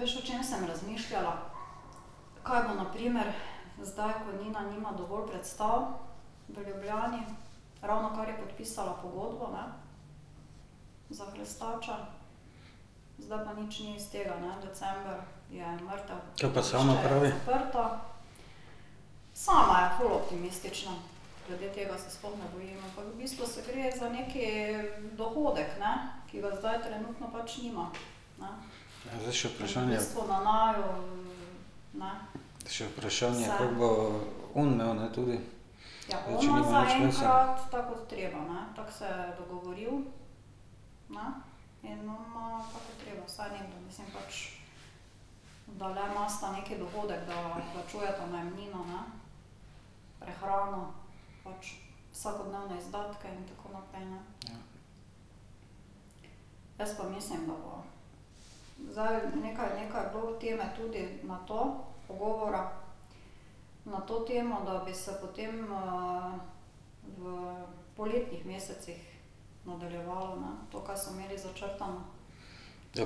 Kaj pa sama pravi? Zdaj še vprašanje ... Še vprašanje, koliko bo on imel, ne, tudi. Ja. Ja,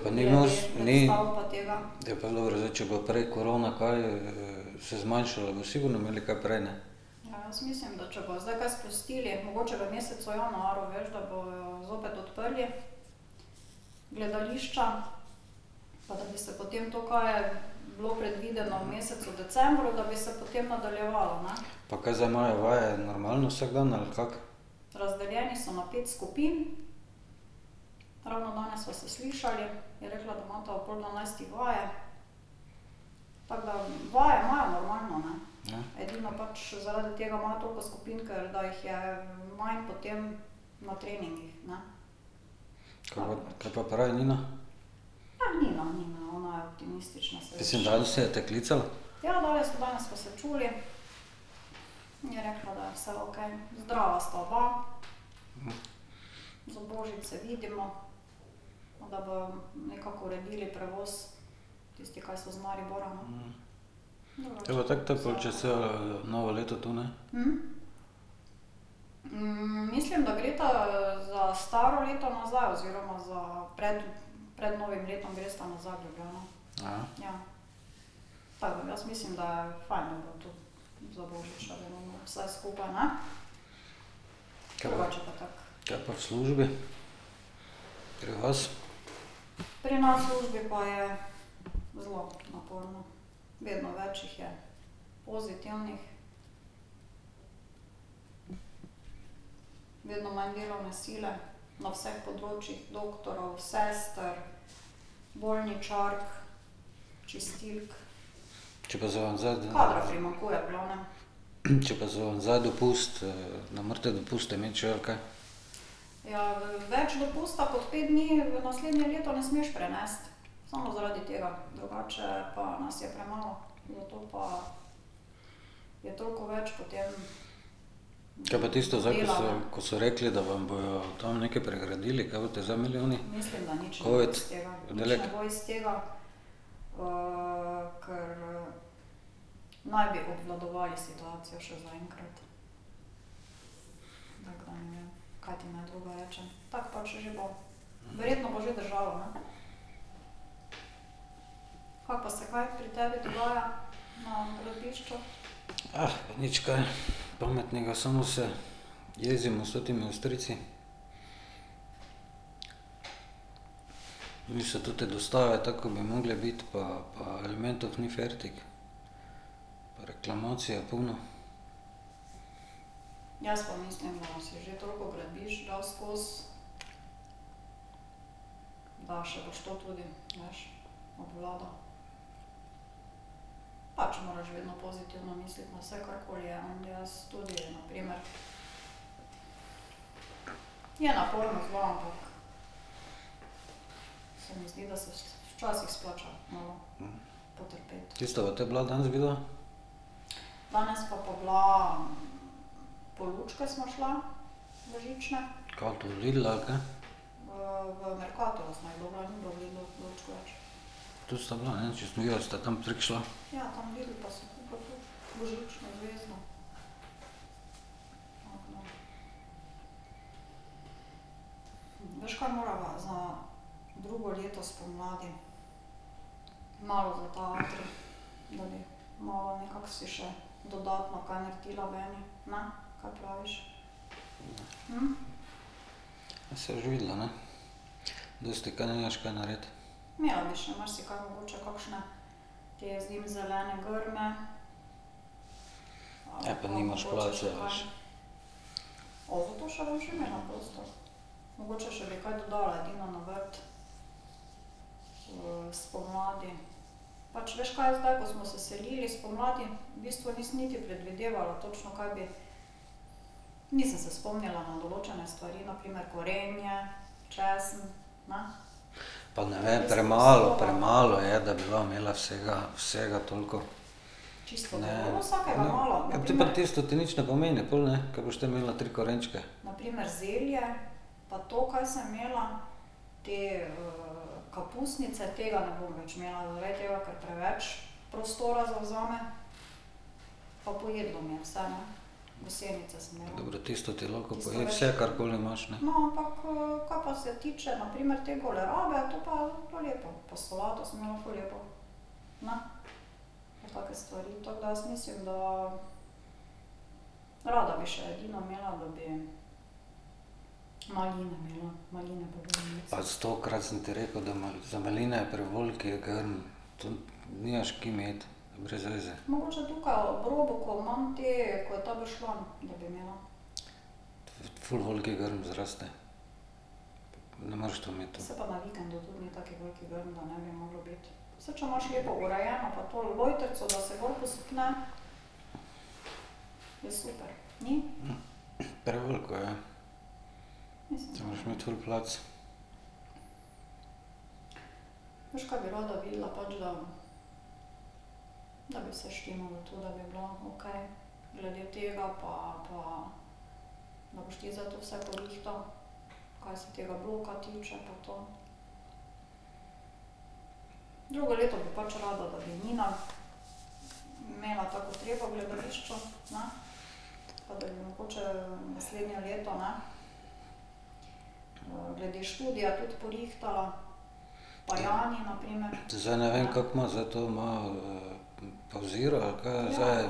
pa ni mus, ni ... Ja, pa dobro, zdaj če bojo prej korona kaj se zmanjšala, bojo sigurno imeli kaj prej, ne. Pa kaj zdaj imajo vaje normalno vsak dan, ali kako? Kaj pa kaj pa pravi Nina? Mislim, danes je te klicala? Kaj bo tako te pol čez celo novo leto tu, ne? Ka pa ... ka pa v službi? Pri vas? Če pa z ... Če pa so vam zdaj dopust, ne morete dopusta imeti še ali kaj? Kaj pa tisto zdaj, ko so, ko so rekli, da vam bojo tam nekaj pregradili, kaj boste zdaj imeli oni covid oddelek? Nič kaj pametnega, samo se jezimo s totimi Avstrijci. Niso te dostave tako, kot bi morale biti, pa pa elementov ni fertik pa reklamacij je polno. Kje sta pa te bila danes vidva? Kako to, Lidl, ali kaj? Tudi sta bila, ne, če sem videl, da sta tam prek šla. Ja saj boš videla, ne. Dosti ka, nimaš ka narediti. Ja pa nimaš placa, veš. Pa ne vem, premalo, premalo je, da bi va imela vsega, vsega toliko. Ne. Te pa tisto ti nič ne pomeni pol, ne, ka boš te imela tri korenčke. Dobro, tisto ti lahko poje vse, karkoli imaš, ne. Pa stokrat sem ti rekel, da za maline je prevelik grm. To nimaš, ki imeti. Brez veze. ful velik grm zraste. Ne moreš to imeti. Preveliko je. To moraš imeti ful plac. Zdaj ne vem, kako ima, zdaj to ima pavzira ali kaj je zdaj?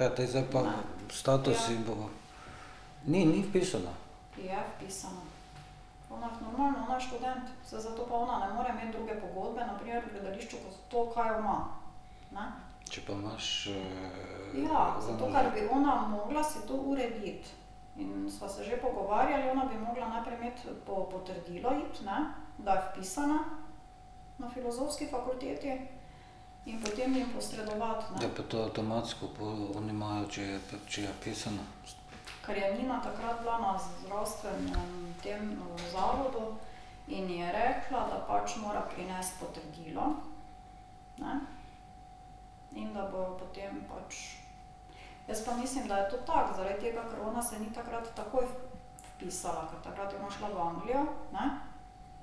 Ja, te zdaj pa status ji bo ... Ni, ni vpisana. Če pa imaš ... Ja, pa to avtomatsko pol oni imajo, če je če je vpisana. Ne, saj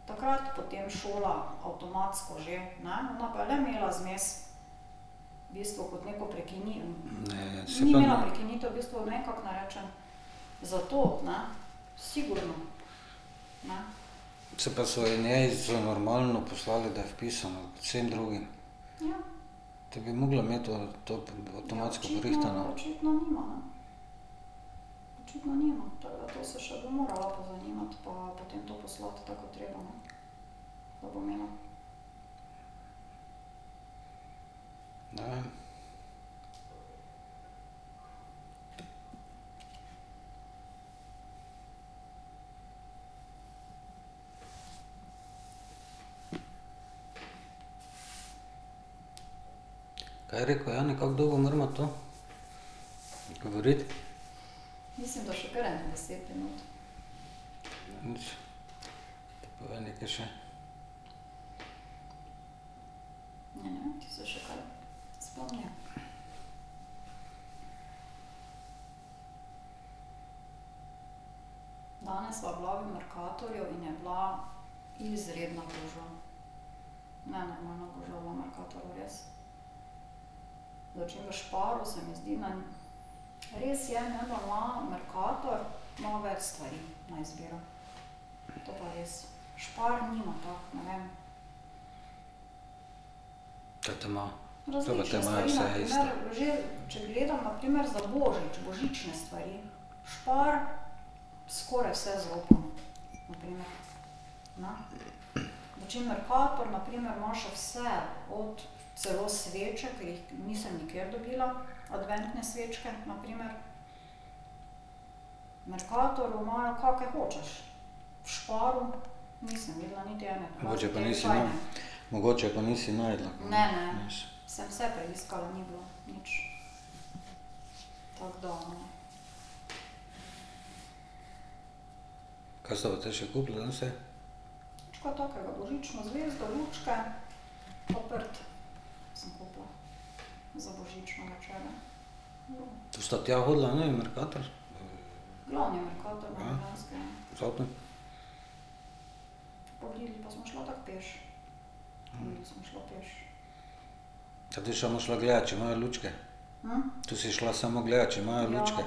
tam ... Se pa so ji njej so ji normalno poslali, da je vpisana, kot vsem drugim. Te bi morala imeti to to avtomatsko porihtano. Ne vem. Kaj je rekel Jani, kako dolgo morava to govoriti? Te povej nekaj še. Ka te ima? Če pa te imajo vse isto. Mogoče pa nisi ... Mogoče pa nisi našla. Kaj sta pa še kupila danes vse? To sta tja hodila v oni Mercator? Z avtom? Ka ti samo šla gledat, če imajo lučke? To si šla samo gledat, če imajo lučke?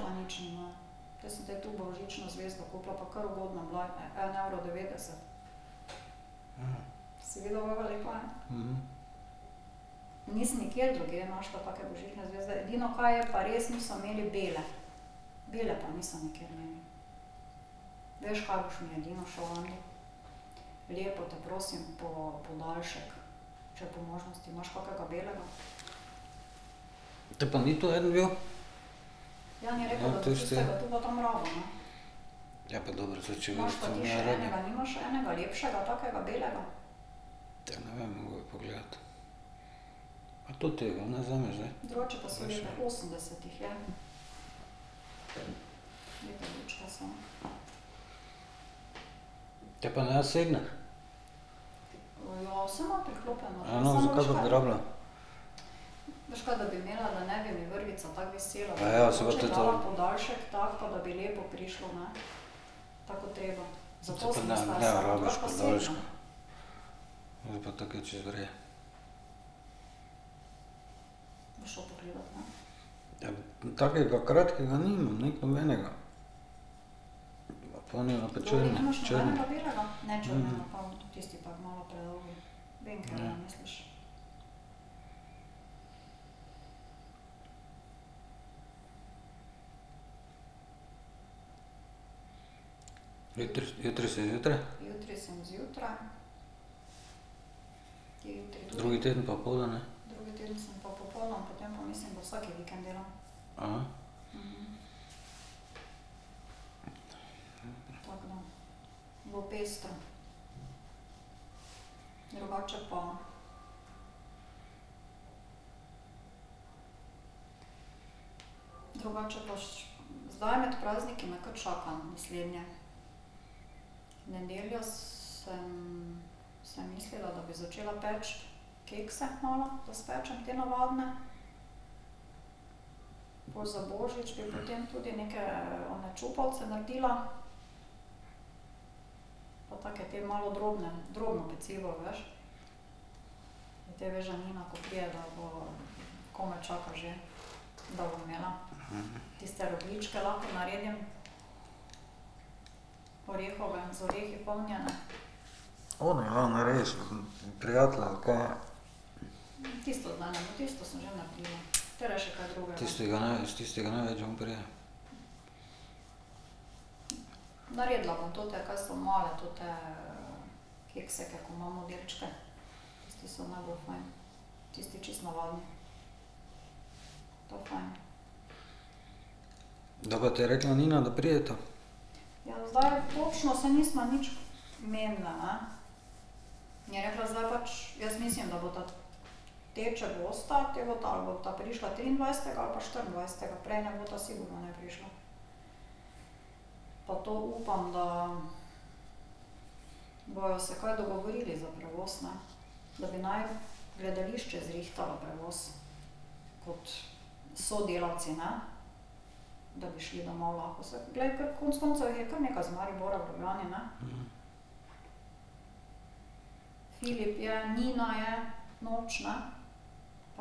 Te pa ni tu en bil? Ja, tisto je ... Ja, pa dobro, saj če . Tega ne vem, bi moral pogledati. Pa totega, ne, vzemi zdaj. Te pa ne ? Ja no, zakaj pa bi rabila? saj pa te to ... To ne, ne rabiš podaljška. Ja, takega kratkega nimam, ne, nobenega. onega črnega. Jutri, jutri si zjutraj? Drugi teden popoldan, ne? One, ja, naredi s ... prijatelje ali kaj je. Tistega s tistega največ vun pride. Kdaj pa te je rekla Nina, da prideta? Te pa noben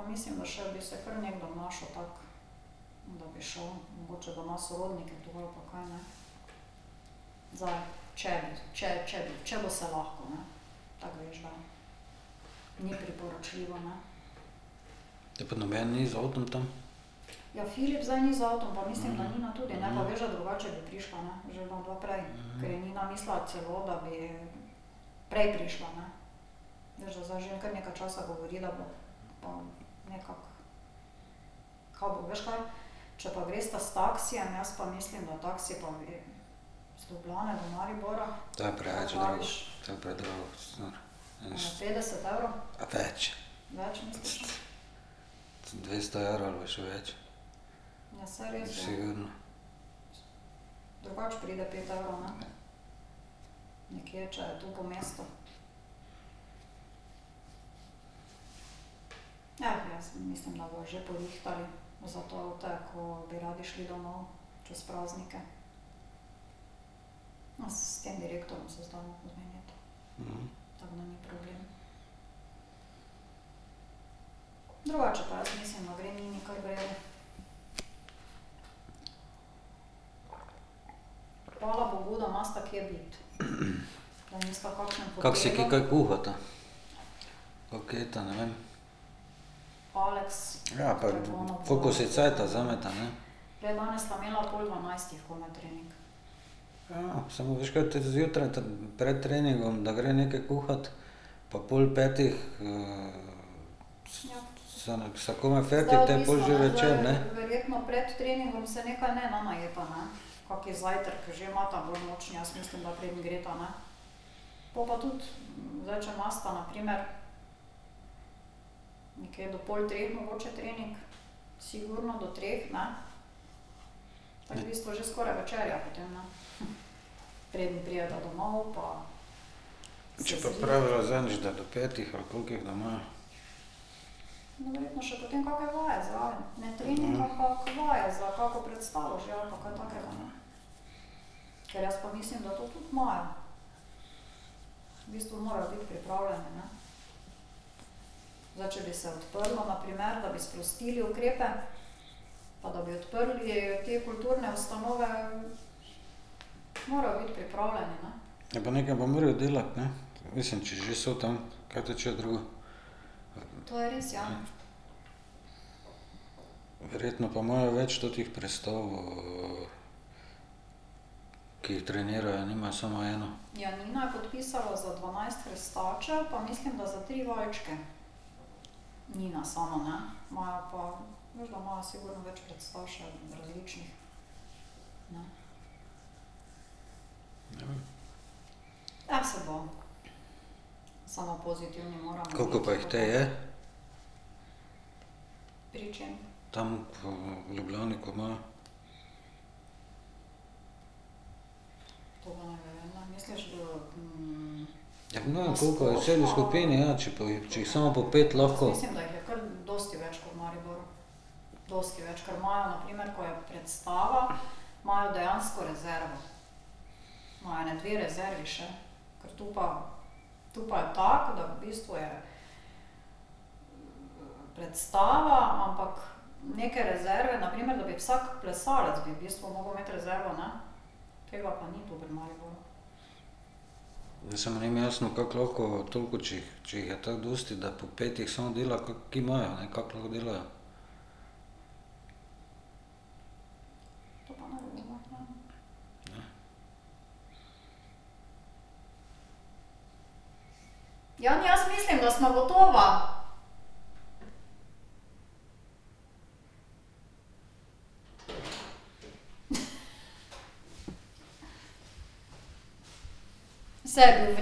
ni z avtom tam? To je preveč drago, to je predrago, si nor. A več. Dvesto evrov ali pa še več. Sigurno. Kako si kaj kaj kuhata? Kako jesta, ne vem? Ja, pa koliko si cajta vzameta, ne. Ja, samo veš kaj, to zjutraj pred treningom, da gre nekaj kuhat pa pol petih sta komaj fertik, te je pol že večer, ne. Če je pa pravila zadnjič, da do petih ali kolikih, da ima. Ja, pa nekaj pa morajo delati, ne, mislim, če že so tam, kaj te hočejo drugo. Verjetno pa imajo več teh prestav, ki jih trenirajo, nimajo samo eno. Ne vem. Koliko pa jih te je? Tam Ljubljani, ko imajo. Ja, ne vem, koliko je vseh v skupini, ja, če pa jih, če jih samo po pet lahko ... Ja, samo ni mi jasno, kako lahko toliko, če jih, če jih je tako dosti, da po pet jih samo dela, ki imajo, ne, kako lahko delajo. Ne.